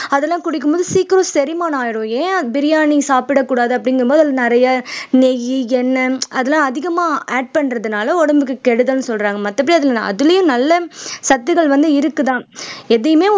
அதெல்லாம் குடிக்கும்போது சீக்கிரம் செரிமானம் ஆயிடும் ஏன் பிரியாணி சாப்பிடக் கூடாது அப்படிங்கும்போது அதுல நிறைய நெய் எண்ணெய் அதெல்லாம் அதிகமா add பண்றதுனால உடம்புக்கு கெடுதல்ன்னு சொல்றாங்க மத்தபடி அதுல அதுலயும் நல்ல சத்துக்கள் வந்து இருக்குதான் எதையுமே